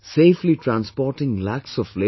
Rajendra ji is a farmer from Satna village in Nasik